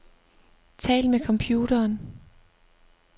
Tal med computeren.